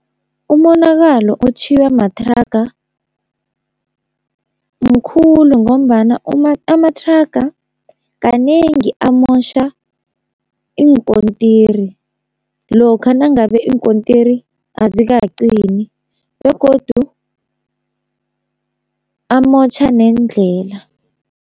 Umonakalo otjhiywa mathraga mkhulu, ngombana amathraga kanengi amotjha iinkontiri lokha nangabe iinkontiri azikaqini, begodu amotjha neendlela.